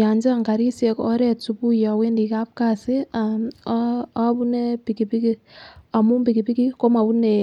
Yon chang karishek oret subui owendii akapkasi obune pikipikik amun pikipikik komobune